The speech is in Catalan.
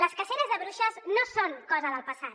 les caceres de bruixes no són cosa del passat